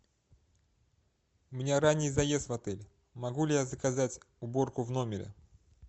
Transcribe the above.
у меня ранний заезд в отель могу ли я заказать уборку в номере